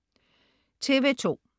TV2: